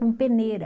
Com peneira.